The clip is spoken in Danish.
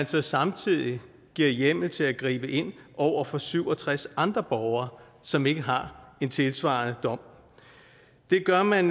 så samtidig giver hjemmel til at gribe ind over for syv og tres andre borgere som ikke har en tilsvarende dom det gør man